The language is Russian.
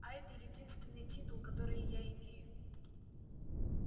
а это единственный титул который я имею